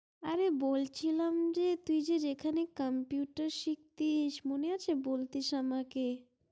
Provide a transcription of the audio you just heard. অরে বলছিলাম যে তুই যেখানে computer সিকটিস মনে আছে বোলটিস আমাকে